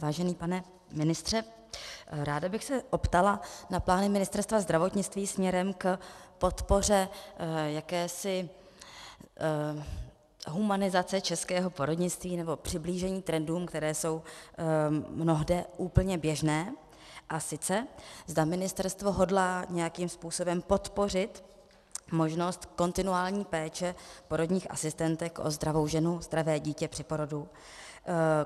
Vážený pane ministře, ráda bych se optala na plány Ministerstva zdravotnictví směrem k podpoře jakési humanizace českého porodnictví, nebo přiblížení trendům, které jsou mnohde úplně běžné, a sice zda ministerstvo hodlá nějakým způsobem podpořit možnost kontinuální péče porodních asistentek o zdravou ženu, zdravé dítě při porodu.